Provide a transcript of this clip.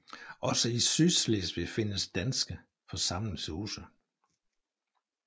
Også i Sydslesvig findes danske forsamlingshuse